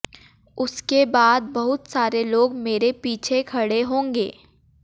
उसके बाद बहुत सारे लोग मेरे पीछे खड़े होंगे